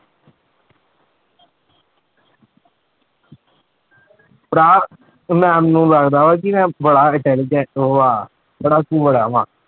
ਭਰਾ ma'am ਨੂੰ ਲੱਗਦਾ ਵਾਂ ਕਿ ਮੈਂ ਬੜਾ intelligent ਉਹ ਆਂ ਪੜ੍ਹਾਕੂ ਬੜਾ ਵਾਂ।